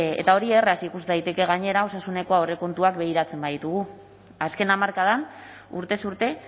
eta hori erraz ikus daiteke gainera osasuneko aurrekontuak begiratzen baditugu azken hamarkadan urtez urte